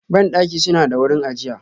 Bandaki suna da wurin ajiya.